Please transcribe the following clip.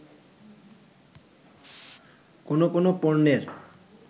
কোন কোন পণ্যের